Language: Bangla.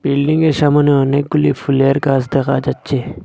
বিল্ডিংয়ের -এর সামনে অনেকগুলি ফুলের গাছ দেখা যাচ্ছে।